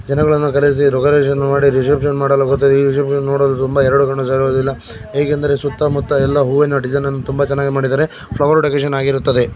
ಜನಗಳನ್ನು ಕರೆಸಿ ಡೆಕೋರೇಷನ್ ಮಾಡಿ ರಿಸೆಪ್ಶನ್ ಮಾಡಿ ರಿಸೆಪ್ಶನ್ ನೋಡಲು ತುಂಬಾ ಎರಡು ಕಣ್ಣು ಸಾಲದು ಇಲ್ಲ. ಏಕೆಂದರೆ ಸುತ್ತಮುತ್ತ ಎಲ್ಲಾ ಹೂವಿನ ಡಿಸೈನ್ ಅನ್ನು ತುಂಬಾ ಚೆನ್ನಾಗಿ ಮಾಡಿದ್ದಾರೆ ಫ್ಲವರ್ ಡೆಕೋರೇಷನ್ ಆಗಿರುತ್ತದೆ.